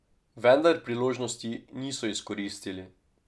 Vendar priložnosti niso izkoristili.